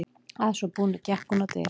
Að svo búnu gekk hún á dyr.